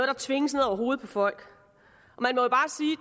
der tvinges ned over hovedet på folk